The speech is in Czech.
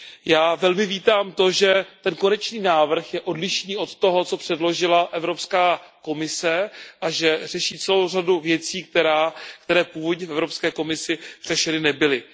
Já velmi vítám to, že ten konečný návrh je odlišný od toho, co předložila Evropská komise, a že řeší celou řadu věcí, které původně v Evropské komisi řešeny nebyly.